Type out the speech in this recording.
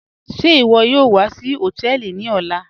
Ṣẹ́ iwo yóò wà sí hotẹẹlì ní ọlá?